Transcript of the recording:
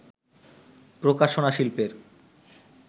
প্রকাশনাশিল্পের